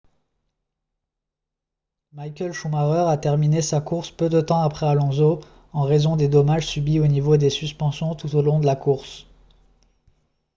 michael schumacher a terminé sa course peu de temps après alonso en raison des dommages subis au niveau des suspensions tout au long de la course